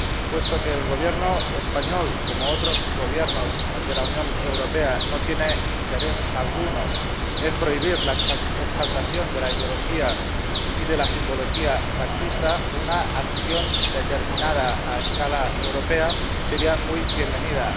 Puesto que el Gobierno español, como otros Gobiernos de la Unión Europea, no tiene interés alguno en prohibir la exaltación de la ideología y de la simbología fascista, una acción determinada a escala europea sería muy bienvenida.